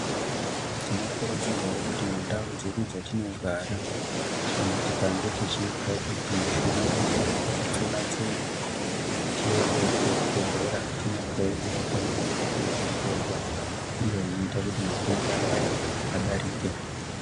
Tinokurudzirwawo kuti mundau dzedu dzetinogara kana tikange tichizwa kuti mishuna yedu iri kutsuna-tsuna, tiendewo kuzvibhedhlera tinohloyiwa pamwe nekupiwa mitombo iyo inoita kuti matenda aya adarike.